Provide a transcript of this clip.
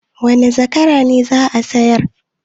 Wane zakara ne za a sayar?